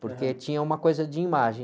Porque tinha uma coisa de imagem.